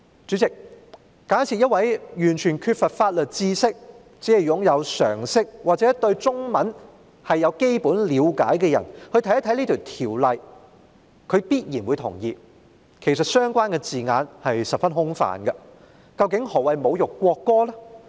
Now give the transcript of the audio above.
主席，假設一名完全缺乏法律知識，只具備常識或對中文有基本了解的人看到這項條文，他必然會同意相關字眼其實十分空泛，究竟何謂"侮辱國歌"呢？